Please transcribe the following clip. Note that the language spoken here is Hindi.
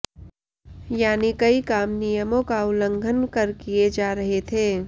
यानी कई काम नियमों का उल्लंघन कर किए जा रहे थे